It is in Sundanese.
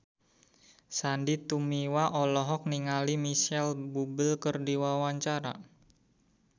Sandy Tumiwa olohok ningali Micheal Bubble keur diwawancara